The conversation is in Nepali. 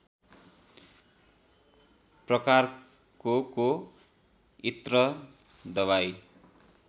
प्रकारकोको इत्र दबाइ